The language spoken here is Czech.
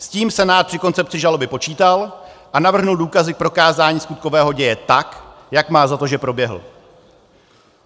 S tím Senát při koncepci žaloby počítal a navrhl důkazy k prokázání skutkového děje tak, jak má za to, že proběhl.